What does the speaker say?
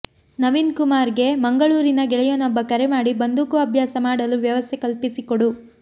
ನವೀನ್ ಕುಮಾರ್ ಗೆ ಮಂಗಳೂರಿನ ಗೆಳೆಯನೊಬ್ಬ ಕರೆ ಮಾಡಿ ಬಂದೂಕು ಅಭ್ಯಾಸ ಮಾಡಲು ವ್ಯವಸ್ಥೆ ಕಲ್ಪಿಸಿಕೊಡು